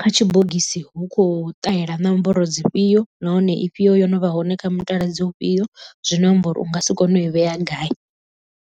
kha tshibogisi hu kho ṱahela nomboro dzi fhio nahone ifhio yo no vha hone kha mutaladzi u fhio zwino amba uri u nga si kone u i vhea gai.